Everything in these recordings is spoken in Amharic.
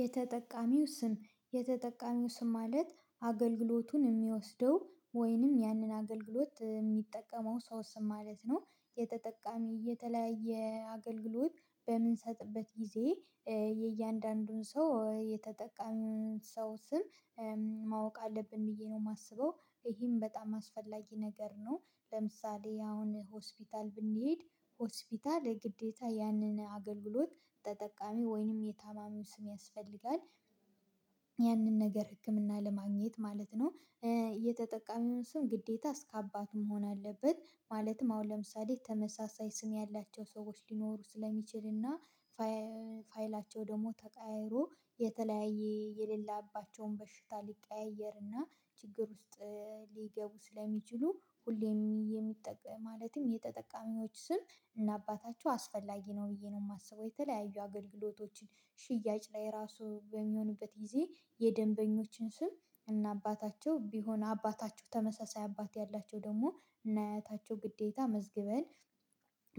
የተጠቃሚው ስም የተጠቃሚው ስም ማለት አገልግሎቱን የሚወስደው ወይንም ያንን አገልግሎት የሚጠቀመው ሰው ስም ማለት ነው። የተጠቃሚ የተለያየ አገልግሎት በምንሰጥበት ጊዜ የእያንዳንዱን ሰው የተጠቃሚውን ሰው ስም ማወቅ አለብን ብዬ ነው የማስበው። ይሄም በጣም አስፈላጊ ነገር ነው። ለምሳሌ አሁን ሆስፒታል ብንሄድ ሆስፒታል ግዴታ ያንን አገልግሎት ተጠቃሚ ወይንም የታማሚው ስም ያስፈልጋል ያንን ነገር ህክምና ለማግኘት ማለት ነው። የተጠቃሚውን ስም ግዴታ እስከ አባቱ መሆን አለበት ማለትም አሁን ለምሳሌ ተመሳሳይ ስም ያላቸው ሰዎች ሊኖሩ ስለሚችል እና ፋይላቸው ደግሞ ተቀይሮ የተለያየ የሌላባቸውን በሽታ ሊቀያየር ሊቀያየርና ችግር ውስጥ ሊገቡ ስለሚችሉ ሁሌም የሚጠቅም ማለትም የተጠቃሚዎች ስም እና አባታቸው አስፈላጊ ነው ብዬ ነው የማስበው። የተለያዩ አገልግሎቶችን ሽያጭ ላይ ራሱ በሚሆንበት ጊዜ የደንበኞችን ስም እና አባታቸው ቢሆን አባታቸው ተመሳሳይ አባት ያላቸው ደግሞ ከነ አያታቸው ግዴታ መዝግበን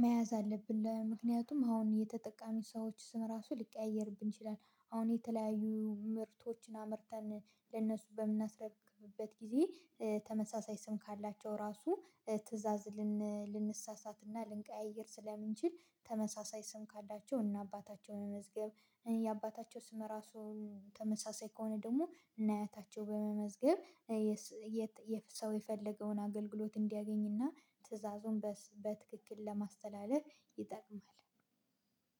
መያዝ አለብን ለምክንያቱም አሁን የተጠቃሚ ሰዎች ስም ራሱ ሊቀያየርብን ይችላል። አሁን የተለያዩ ምርቶችን አመርተን ለእነሱ በምናስረክብበት ጊዜ ተመሳሳይ ስም ካላቸው ራሱ ትእዛዝ ልንሳሳትና ልንቀያይር ስለምንችል ተመሳሳይ ስም ካላቸው እና አባታቸው መመዝገብ የአባታቸው ስም ራሱ ተመሳሳይ ከሆነ ደግሞ ከነ እያታቸው በመመዝገብ ሰው የፈለገውን አገልግሎት እንዲያገኝና ትዕዛዙን በትክክል ለማስተላለፍ ይጠቅማል